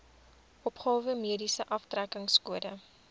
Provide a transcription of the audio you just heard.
opgawe mediese aftrekkingskode